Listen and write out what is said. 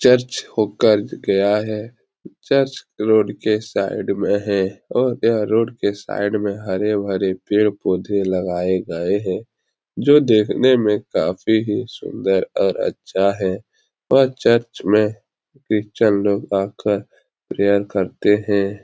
Church हो कर गया है चर्च रोड के साइड में है और यह रोड के साइड में हरे-भरे पेड़-पौधे लगाए गए हैं जो देखने मे काफी ही सुन्दर और अच्छा है और चर्च में क्रिश्चियन लोग आकर प्रेयर करते हैं।